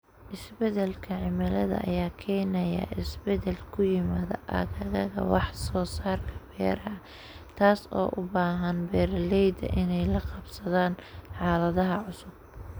Isbeddelka cimilada ayaa keenaya isbeddel ku yimaada aagagga wax soo saarka beeraha, taas oo u baahan beeralayda inay la qabsadaan xaaladaha cusub.